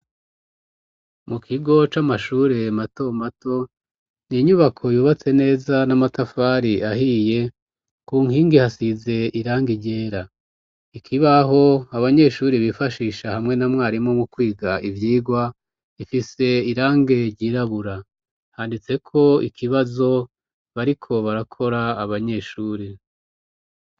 Mu kigo c'amashure matomato, ni inyubako yubatse neza n'amatafari ahiye, ku nkingi hasize irangi ryera, ikibaho abanyeshuri bifashisha hamwe na mwarimu mu kwiga ivyigwa, ifise irangi ryirabura handitseko ikibazo bariko barakora abanyeshuri.